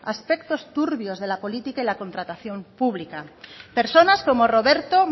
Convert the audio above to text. aspectos turbios de la política y la contratación pública personas como roberto